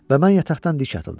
Və mən yataqdan dik atıldım.